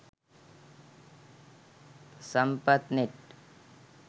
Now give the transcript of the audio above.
sampathnet